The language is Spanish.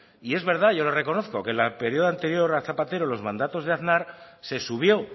y es verdad yo lo reconozco que el periodo anterior a zapatero en los mandatos de aznar se subió